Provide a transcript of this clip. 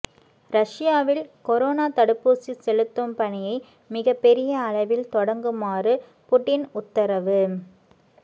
ரஷ்யாவில் கொரோனா தடுப்பூசி செலுத்தும் பணியை மிகப்பெரிய அளவில் தொடங்குமாறு புடின் உத்தரவு